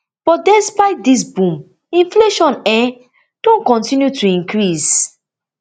but despite dis boom inflation um don continue to increase